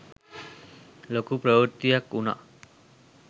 ලොකු ප්‍රවෘත්තියක් වුණා.